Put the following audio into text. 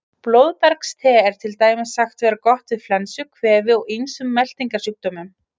Blóðbergste er til dæmis sagt vera gott við flensu, kvefi og ýmsum meltingarsjúkdómum.